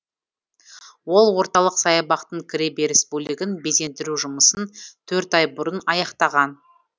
ол орталық саябақтың кіре беріс бөлігін безендіру жұмысын төрт ай бұрын аяқтаған